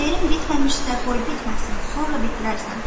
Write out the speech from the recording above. Şeirin bitməmişsə, qoy bitməsin, sonra bitirərsən."